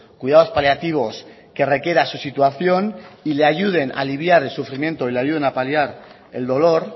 cuidados paliativos que requiera su situación y le ayuden a aliviar el sufrimiento y le ayuden a paliar el dolor